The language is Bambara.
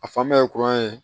A fanba ye kuran ye